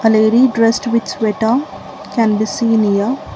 lady dressed with sweater can be seen here.